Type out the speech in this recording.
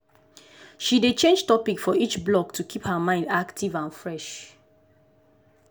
she dey change topic for each block to keep her mind active and fresh.